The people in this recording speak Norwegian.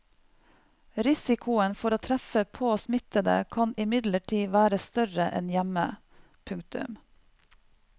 Risikoen for å treffe på smittede kan imidlertid være større enn hjemme. punktum